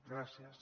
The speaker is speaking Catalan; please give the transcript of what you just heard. gràcies